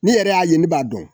Ni yɛrɛ y'a ye ne b'a dɔn.